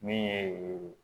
Min ye